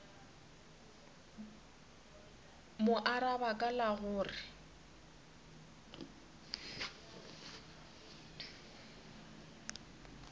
mo araba ka la gore